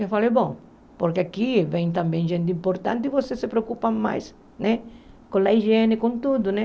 Eu falei, bom, porque aqui vem também gente importante e você se preocupa mais né com a higiene, com tudo, né?